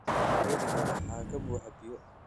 Dheriga waxaa ka buuxa biyo